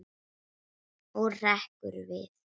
Og hrekkur við.